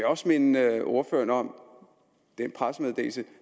også minde ordføreren om den pressemeddelelse